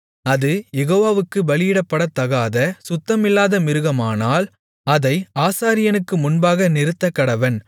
அது யெகோவாவுக்குப் பலியிடப்படத்தகாத சுத்தமில்லாத மிருகமானால் அதை ஆசாரியனுக்கு முன்பாக நிறுத்தக்கடவன்